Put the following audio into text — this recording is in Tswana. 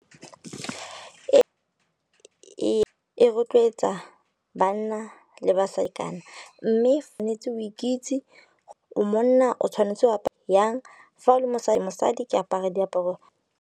E rotloetsa banna le basadikana, mme tshwanetse o ikitse, o monna o tshwanetse wa jang fa o le mosadi ke apara diaparo.